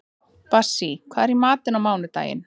Bassí, hvað er í matinn á mánudaginn?